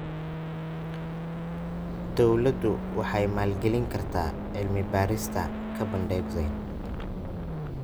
Dawladdu waxay maalgelin kartaa cilmi-baarista carbon dioxide.